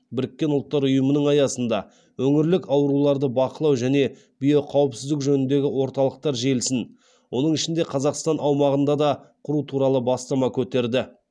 біріккен ұлттар ұйымының аясында өңірлік ауруларды бақылау және биоқауіпсіздік жөніндегі орталықтар желісін оның ішінде қазақстан аумағында да құру туралы бастама көтерді